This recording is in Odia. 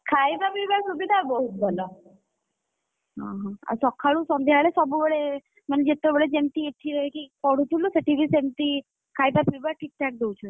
ଖାଇବା ପିଇବା ସୁବିଧା ବହୁତ ଭଲ। ଆଉ ସଖାଳୁ ସନ୍ଧ୍ୟା ବେଳେ ସବୁବେଳେ, ମାନେ ଯେତେବେଳେ ଯେମିତି ଏଠି, ରହିକି ପଢୁଥିଲୁ ସେଠି ବି ସେମିତି, ଖାଇବା ପିଇବା ଠିକ୍ ଠାକ୍‌ ଦଉଛନ୍ତି।